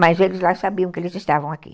Mas eles lá sabiam que eles estavam aqui.